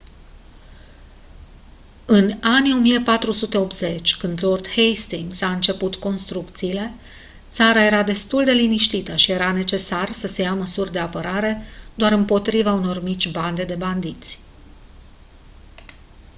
în anii 1480 când lord hastings a început construcțiile țara era destul de liniștită și era necesar să se ia măsuri de apărare doar împotriva unor mici bande de bandiți